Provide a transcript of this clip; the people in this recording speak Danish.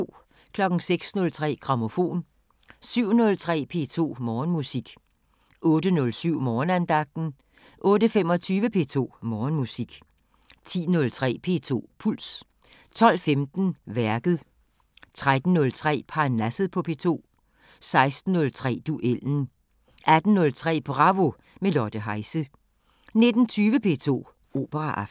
06:03: Grammofon 07:03: P2 Morgenmusik 08:07: Morgenandagten 08:25: P2 Morgenmusik 10:03: P2 Puls 12:15: Værket 13:03: Parnasset på P2 16:03: Duellen 18:03: Bravo – med Lotte Heise 19:20: P2 Operaaften